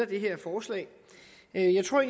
det her forslag jeg tror